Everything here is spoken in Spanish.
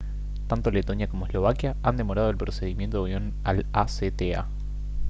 tanto letonia como eslovaquia han demorado el procedimiento de unión al acta